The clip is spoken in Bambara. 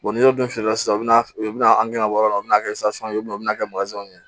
n'i y'o dun fiyɛ sisan min bɛ na an gɛrɛ o yɔrɔ la o bɛna kɛ ye u bɛ n'a kɛ